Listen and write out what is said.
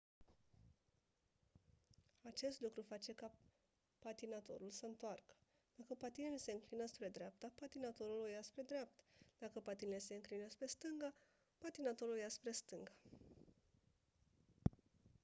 acest lucru face ca patinatorul să întoarcă dacă patinele se înclină spre dreapta patinatorul o ia spre dreapta dacă patinele se înclină spre stânga patinatorul o ia spre stânga